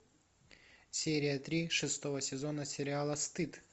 серия три шестого сезона сериала стыд